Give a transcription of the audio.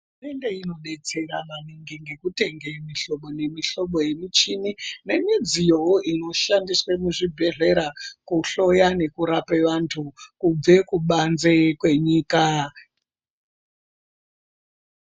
Hurumende inodetsera maningi ngekutenga mihlobo nemihlobo nemichini nemidziwoyo inoshandiswa muzvibhedhlera kuhloya nekurapa vantu kubva kubanze kwenyika.